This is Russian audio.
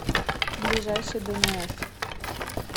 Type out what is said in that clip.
ближайший дэнээс